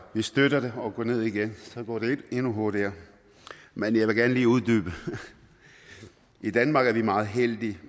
vi støtter det og gå ned igen så går det endnu hurtigere men jeg vil gerne lige uddybe i danmark er vi meget heldige